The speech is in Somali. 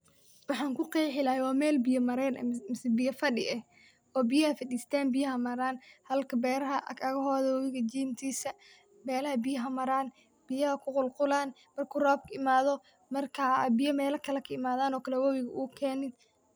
Waxan kuqeexi lahay waa Mel biya mareyn eh misee biya fadhiye oo biyaha faristan biyaha maraan halka beeraha agahooga webiga jintisa melaha biyaha maraan biyaha qulqulan marku robka imaado marka biya Mel kale kaimadan webiga uu keeno